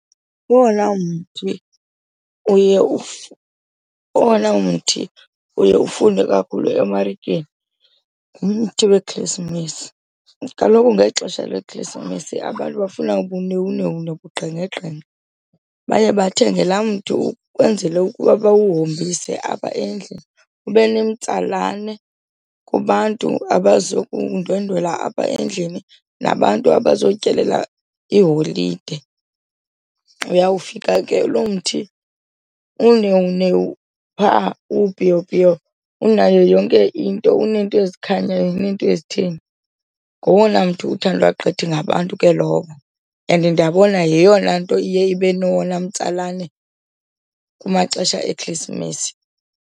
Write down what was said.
Owona mthi uye owona mthi ufunwe kakhulu emarikeni ngumthi weKhrisimesi. Kaloku ngexesha leKhrisimesi abantu bafuna ubunewunewu nobugqengegqenge, baye bathenge la mntu ukwenzele ukuba bawuhombise apha endlini ube nomtsalane kubantu abazokundwendwela apha endlini nabantu abazotyelela iiholide. Uyawufika ke lo mthi unewunewu phaa unayo yonke into, uneento ezikhanyayo neento ezitheni. Ngowona mthi uthandwa gqithi gabantu ke lowo and ndiyabona yeyona nto iye ibe nowona mtsalane kumaxesha eKhrisimesi.